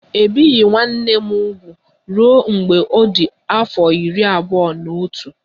E bieghị nwanne m úgwù ruo mgbe ọ dị afọ iri abụọ na otu